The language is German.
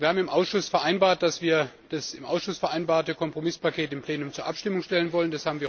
Wir haben im Ausschuss vereinbart, dass wir das im Ausschuss vereinbarte Kompromisspaket im Plenum zur Abstimmung stellen wollen.